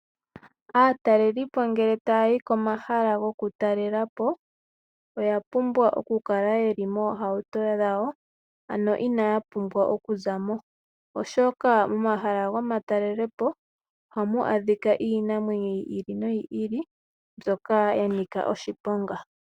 Aatalelipo ngeye taya yi komahala gokutalela po, oya pumbwa ya kale ye li moohauto dhawo. Ano inaya pumbwa okuza mo oshoka momahala gomatalelipo ohamu adhika iinamwenyo yi ili noyi ili, mbyoka ya nika oshiponga.